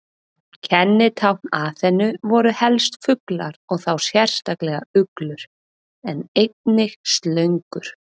Kennitákn Aþenu voru helst fuglar og þá sérstaklega uglur, en einnig slöngur.